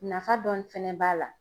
Nafa dɔɔni fɛnɛ b'a la